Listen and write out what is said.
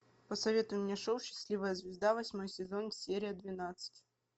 посоветуй мне шоу счастливая звезда восьмой сезон серия двенадцать